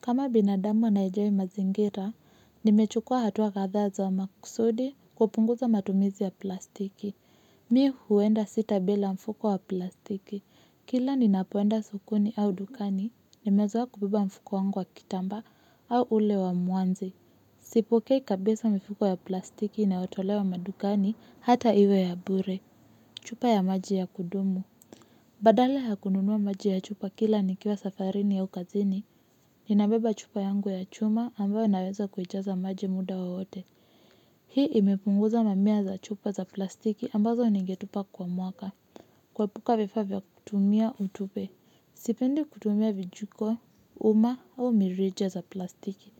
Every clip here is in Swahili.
Kama binadamu anayejali mazingira, nimechukua hatua kadhaa za makusudi kupunguza matumizi ya plastiki. Mi huenda sita bila mfuko wa plastiki. Kila ninapoenda sokoni au dukani, nimezoea kubeba mfuko wangu wa kitambaa au ule wa mwanzi. Sipokei kabisa mifuko ya plastiki inayo tolewa madukani hata iwe ya bure. Chupa ya maji ya kudumu. Badala ya kununua maji ya chupa kila nikiwa safarini au kazini. Ninabeba chupa yangu ya chuma ambayo naweza kuijaza maji muda wowote. Hii imepunguza mamia za chupa za plastiki ambazo ningetupa kwa mwaka. Kuepuka vifaa vya kutumia utupe. Sipendi kutumia vijiko, uma au mirija za plastiki.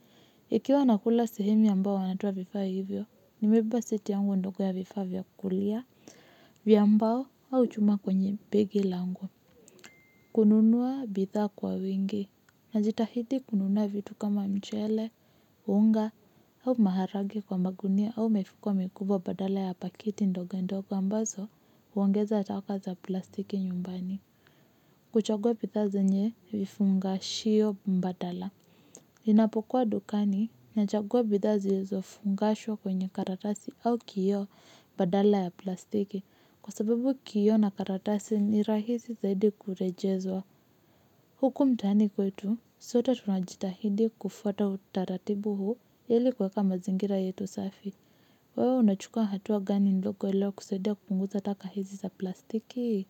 Ikiwa nakula sehemu ambayo wanatoa vifaa hivyo, nimebeba seti yangu ndogo ya vifaa vya kulia vya mbao au chuma kwenye begi langu. Kununua bidhaa kwa wingi. Najitahidi kununua vitu kama mchele, unga au maharage kwa magunia au mifuko mikubwa badala ya pakiti ndogo ndogo ambazo huongeza taka za plastiki nyumbani. Kuchagua bidhaa zenye vifunga shio mbadala. Ninapokuwa dukani na chagua bidhaa zilizo fungashwa kwenye karatasi au kioo badala ya plastiki. Kwa sababu kioo na karatasi ni rahisi zaidi kurejezwa. Huku mtaani kwetu, sote tunajitahidi kufuata utaratibu huu, ili kuweka mazingira yetu safi. Wewe unachukua hatua gani ndogo ilio kusaidia kupunguza taka hizi za plastiki?